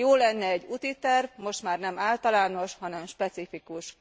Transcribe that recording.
Jó lenne egy útiterv, most már nem általános, hanem specifikus.